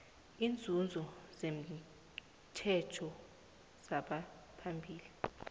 iinzuzo zetjhejo lezamaphilo